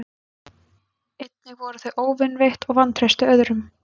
Einnig voru þau óvinveitt og vantreystu öðrum.